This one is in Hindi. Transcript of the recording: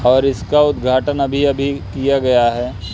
और इसका उद्घाटन अभी अभी किया गया है।